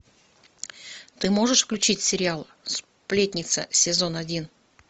ты можешь включить сериал сплетница сезон один